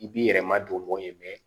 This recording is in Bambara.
I b'i yɛrɛma don ye